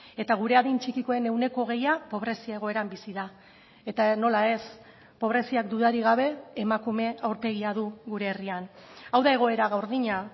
eta gure adin txikikoen ehuneko hogeia pobrezia egoeran bizi da eta nola ez pobreziak dudarik gabe emakume aurpegia du gure herrian hau da egoera gordina